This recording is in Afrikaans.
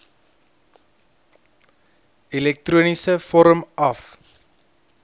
elektroniese vorm af